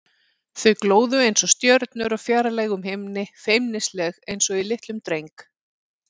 Þau glóðu einsog stjörnur á fjarlægum himni, feimnisleg einsog í litlum dreng.